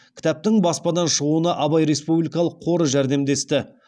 кітаптың баспадан шығуына абай республикалық қоры жәрдемдесті